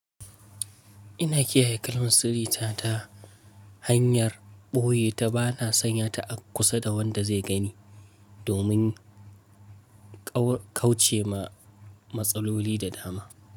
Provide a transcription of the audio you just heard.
Ina kiyaye kalmun sirri ta hanyar ɓoye ta bana sanya ta a kusa da wanda zai gani domin kauce ma matsaloli da dama.